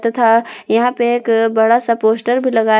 तथा यहां पे एक बड़ा सा पोस्टर भी लगाए--